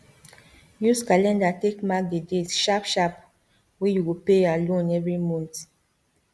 use calendar take mark the dates sharpsharp wey you go pay ya loan every month